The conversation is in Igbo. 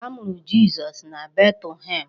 A mụrụ Jizọs na Betlehem.